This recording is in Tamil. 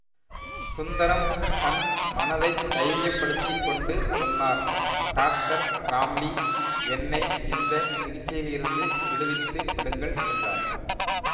சுந்தரம் தன் மனதைத் தைரியப் படுத்தி கொண்டு சொன்னார் டாக்டர் ராம்லி என்னை இந்த சிகிச்சையிலிருந்து விடுவித்து விடுங்கள் என்றார்